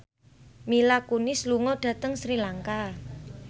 Mila Kunis lunga dhateng Sri Lanka